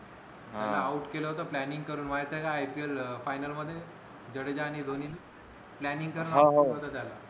शुभमला out केल होत planning करून माहिती हे का आय पी एल ला final मध्ये जडेजा आणि धोनी ने planning तर